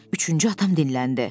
Üçüncü adam dilləndi.